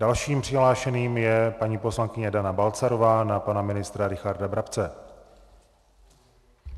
Dalším přihlášeným je paní poslankyně Dana Balcarová na pana ministra Richarda Brabce.